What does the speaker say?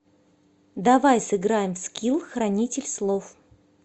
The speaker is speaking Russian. давай сыграем в скилл хранитель слов